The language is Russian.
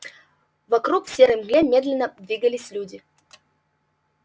вокруг в серой мгле медленно двигались люди